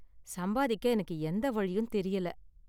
சம்பாதிக்க எனக்கு எந்த வழியும் தெரியல.